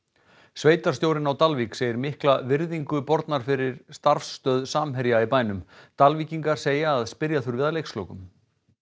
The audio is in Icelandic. sveitarstjórinn á Dalvík segir mikla virðingu borna fyrir starfsstöð Samherja í bænum Dalvíkingar segja að spyrja þurfi að leikslokum